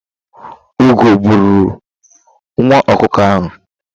Ugo bụrụ nwa ọkụkọ ahụ.